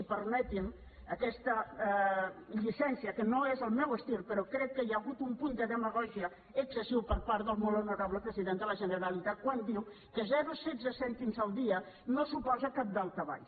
i permetin me aquesta llicència que no és el meu estil però crec que hi ha hagut un punt de demagògia excessiu per part del molt honorable president de la generalitat quan diu que zero coma setze cèntims el dia no suposen cap daltabaix